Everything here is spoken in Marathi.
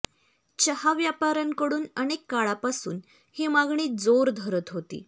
चहा व्यापाऱ्यांकडून अनेक काळापासून ही मागणी जोर धरत होती